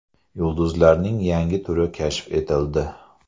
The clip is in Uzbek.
Yulduzlarning yangi turi kashf etildi.